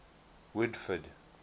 woodford